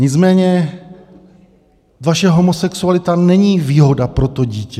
Nicméně vaše homosexualita není výhoda pro to dítě.